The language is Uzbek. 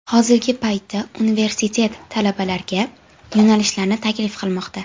Hozirgi paytda universiteti talabalarga: yo‘nalishlarini taklif qilmoqda.